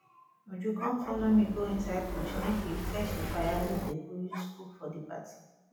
uju come follow me go inside bush make we fetch the firewood dey go use cook food for the party